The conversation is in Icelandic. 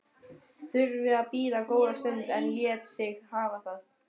Þurfti að bíða góða stund en lét sig hafa það.